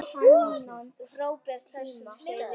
Frábær hestur, segir Eyrún Ýr.